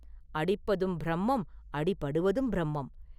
அடிப்பதும் பிரம்மம்; அடிபடுவதும் பிரம்மம்.